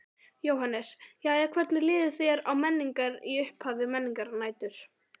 Jóhannes: Jæja hvernig líður þér á Menningar, í upphafi Menningarnætur?